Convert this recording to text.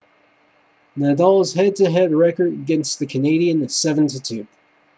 nadal's head to head record against the canadian is 7-2